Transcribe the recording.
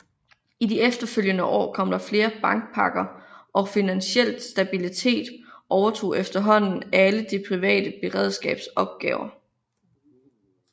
I de efterfølgende år kom der flere bankpakker og Finansiel Stabilitet overtog efterhånden alle Det Private Beredskabs opgaver